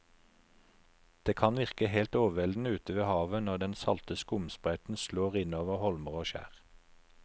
Det kan virke helt overveldende ute ved havet når den salte skumsprøyten slår innover holmer og skjær.